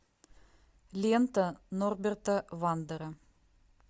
лента норберта вандера